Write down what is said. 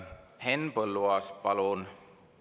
Henn Põlluaas, palun!